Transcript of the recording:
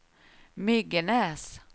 Myggenäs